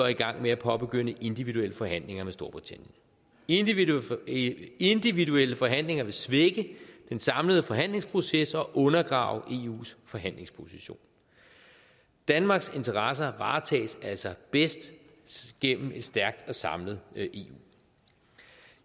i gang med at påbegynde individuelle forhandlinger med storbritannien individuelle individuelle forhandlinger vil svække den samlede forhandlingsproces og undergrave eus forhandlingsposition danmarks interesser varetages altså bedst gennem et stærkt og samlet eu